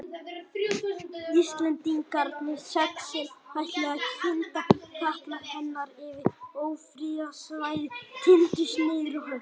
Íslendingarnir sex, sem ætluðu að kynda katla hennar yfir ófriðarsvæðið tíndust niður á höfn.